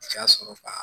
O y'a sɔrɔ ba